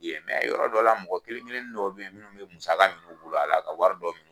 Yen yɔrɔ dɔ la mɔgɔ kelen kelenni dɔ be yen munnu bi musaka minu bolo a la ka wari dɔ min